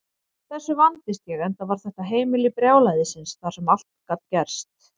Þessu vandist ég, enda var þetta heimili brjálæðisins þar sem allt gat gerst.